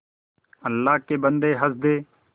अल्लाह के बन्दे हंस दे